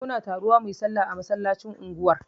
Muna taruwa muyi sallah a masallacin unguwar